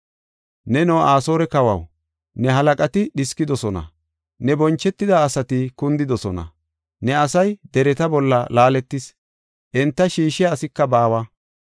Neno Asoore kawaw, ne halaqati dhiskidosona; ne bonchetida asati kundidosona. Ne asay dereta bolla laaletis; enta shiishiya asika baawa.